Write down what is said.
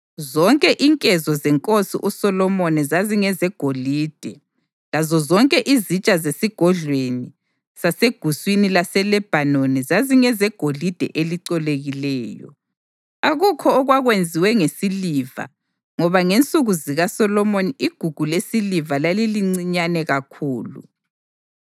Zonke inkezo zenkosi uSolomoni zazingezegolide, lazozonke izitsha zeSigodlweni saseGuswini laseLebhanoni zazingezegolide elicolekileyo. Akukho okwakwenziwe ngesiliva ngoba ngensuku zikaSolomoni igugu lesiliva lalilincinyane kakhulu.